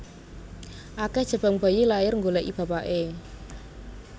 Akeh jabang bayi lahir nggoleki bapakne